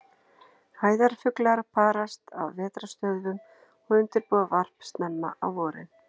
Æðarfuglar parast á vetrarstöðvum og undirbúa varp snemma á vorin.